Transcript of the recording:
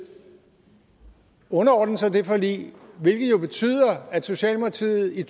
underordne sig det forlig hvilket jo betyder at socialdemokratiet i